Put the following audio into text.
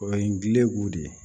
O ye ngilɛbugu de ye